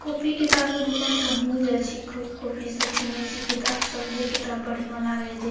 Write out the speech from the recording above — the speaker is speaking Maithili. कॉपी किताब के दुकान त हमहू जाए छी खूब कॉपी सब किनई छी किताब सब जे किताब बढ़िया लागै जे --